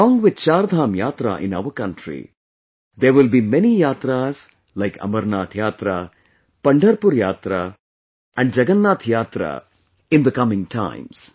Along with 'Chardham Yatra' in our country, there will be many yatras like 'Amarnath Yatra', 'Pandharpur Yatra' and 'Jagannath Yatra' in the coming times